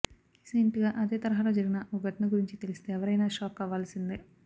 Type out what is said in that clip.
recent గా అదే తరహాలో జరిగిన ఓ ఘటన గురించి తెలిస్తే ఎవ్వరైనా షాక్ అవ్వాల్సిందే